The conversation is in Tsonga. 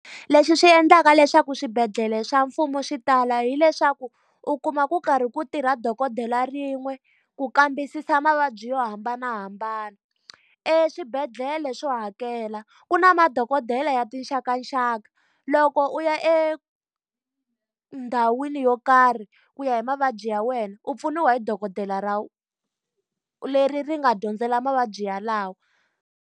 Leswi swi endlaka leswaku swibedhlele swa mfumo swi tala hileswaku, u kuma ku karhi ku tirha dokodela rin'we ku kambisisa mavabyi yo hambanahambana. Eswibedhlele swo hakela ku na madokodela ya tinxakanxaka. Loko u ya endhawini yo karhi ku ya hi mavabyi ya wena, u pfuniwa hi dokodela ra leri ri nga dyondzela mavabyi yalawo.